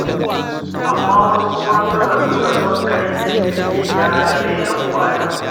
Amma wasu kuma suna nuna son kai da ƙeta da rainin wayo.